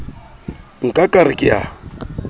nka ka re ke a